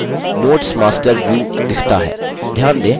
notes master view दिखता है